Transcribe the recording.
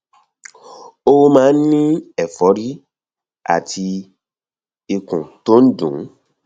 ó máa ń ní ẹfọrí àti ikùn tó ń dùn ún